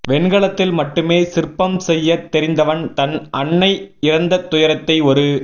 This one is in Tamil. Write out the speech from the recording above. வெண்கலத்தில் மட்டுமே சிற்பம் செய்யத் தெரிந்தவன் தன் அன்னை இறந்த துயரத்தை ஒரு